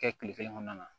Kɛ kile kelen kɔnɔna na